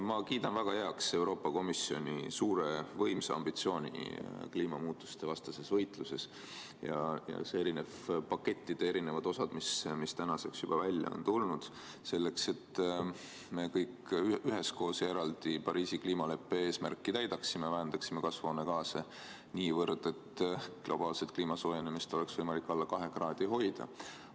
Ma kiidan väga heaks Euroopa Komisjoni suure võimsa ambitsiooni kliimamuutustevastases võitluses ja erinevate pakettide eri osad, mis tänaseks juba välja on tulnud, et me kõik üheskoos ja eraldi Pariisi kliimaleppe eesmärki täidaksime, vähendaksime kasvuhoonegaase niivõrd, et globaalset kliimasoojenemist oleks võimalik alla kahe kraadi hoida.